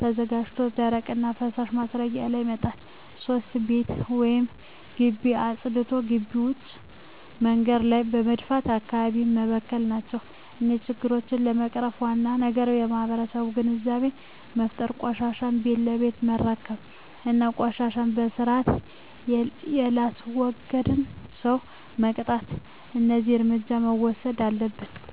ተዘጋጅቶ ደረቅና ፈሣሽ ማስረጊያው ላይ መጣል። 3. ቤት ወይም ግቢ አፅድቶ ግቢ ውጭ መንገድ ላይ በመድፋት አካባቢውን መበከል ናቸው። እነዚህን ችግሮች ለመቅረፍ ዋናው ነገር ለማህበረሠቡ ግንዛቤ መፍጠር፤ ቆሻሻን ቤት ለቤት መረከብ እና ቆሻሻን በስርአት የላስወገደን ሠው መቅጣት። እደዚህ እርምጃዎች መውሠድ አለብን።